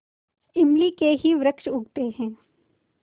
इमली के ही वृक्ष उगते हैं